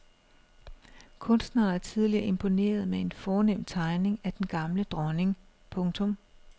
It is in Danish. Kunstneren har tidligere imponeret med en fornem tegning af den gamle dronning. punktum